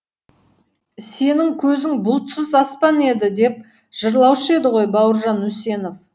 сенің көзің бұлтсыз аспан еді деп жырлаушы еді ғой бауыржан үсенов